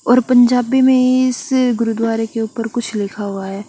और पंजाबी में इस गुरुदुवारे के उपर कुछ लिखा हुआ है।